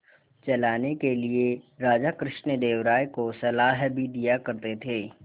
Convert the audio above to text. चलाने के लिए राजा कृष्णदेव राय को सलाह भी दिया करते थे